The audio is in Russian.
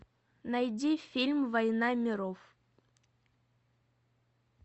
найди фильм война миров